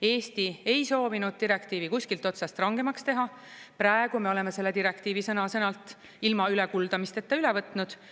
Eesti ei soovinud direktiivi kuskilt otsast rangemaks teha, praegu me oleme selle direktiivi sõna-sõnalt ilma ülekuldamisteta üle võtnud.